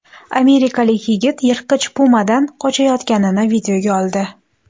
Amerikalik yigit yirtqich pumadan qochayotganini videoga oldi .